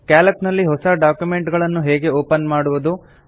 Calc ನಲ್ಲಿ ಹೊಸ document ಗಳನ್ನು ಹೇಗೆ ಓಪನ್ ಮಾಡುವುದು